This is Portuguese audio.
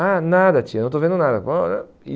Ah, nada, tia, não estou vendo nada.